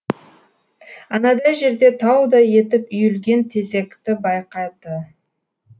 анадай жерде таудай етіп үйілген тезекті байқады